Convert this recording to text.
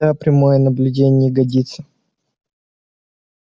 да прямое наблюдение не годится